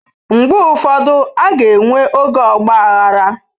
Mgbe ụfọdụ, a ga-enwe oge ọgba aghara.